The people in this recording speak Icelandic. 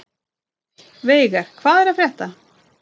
Veiga, hvað er að frétta?